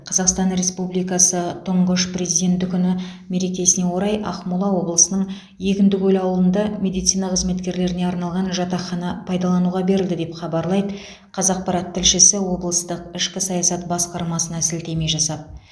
қазақстан республикасы тұңғыш президенті күні мерекесіне орай ақмола облысының егіндікөл ауылында медицина қызметкерлеріне арналған жатақхана пайдалануға берілді деп хабарлайды қазақпарат тілшісі облыстық ішкі саясат басқармасына сілтеме жасап